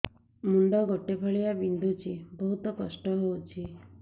ମୁଣ୍ଡ ଗୋଟେ ଫାଳିଆ ବିନ୍ଧୁଚି ବହୁତ କଷ୍ଟ ହଉଚି